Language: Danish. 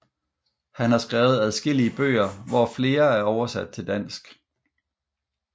Han har skrevet adskillige bøger hvor flere er oversat til dansk